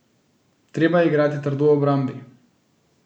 Treba je igrati trdo v obrambi.